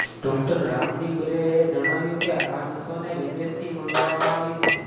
doctor Ramdeep Ray એ જણાવ્યું કે આ નસોને વિદેશથી મંગાવવામાં આવી હતી